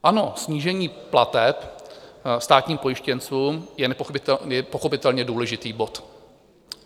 Ano, snížení plateb státním pojištěncům je pochopitelně důležitý bod.